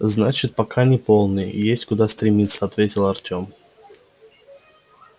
значит пока не полный есть куда стремиться ответил артем